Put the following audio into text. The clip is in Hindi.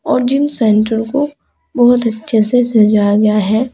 और जिम सेंटर को बहुत अच्छे से सजाया गया है।